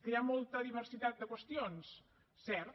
que hi ha molta diversitat de qüestions cert